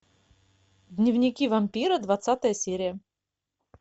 дневники вампира двадцатая серия